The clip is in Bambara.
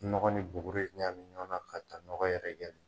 Nɔgɔ ni buguri ɲami ɲɔgɔn na, ka taa ɲɔgɔn yɛrɛkɛ